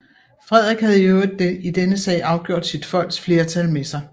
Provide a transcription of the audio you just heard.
Frederik havde i øvrigt i denne sag afgjort sit folks flertal med sig